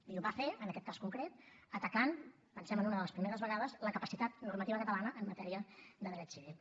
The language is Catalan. i ho va fer en aquest cas concret atacant pensem en una de les primeres vegades la capacitat normativa catalana en matèria de dret civil